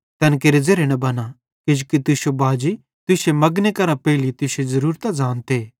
तैन केरे ज़ेरे न बना किजोकि तुश्शो बाजी तुश्शे मगने करां पेइले तुश्शी ज़रूरतां ज़ानते